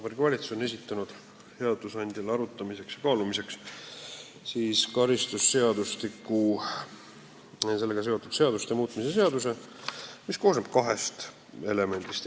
Vabariigi Valitsus on esitanud seadusandjale arutamiseks ja kaalumiseks karistusseadustiku ja sellega seonduvalt teiste seaduste muutmise seaduse eelnõu, mis koosneb kahest elemendist.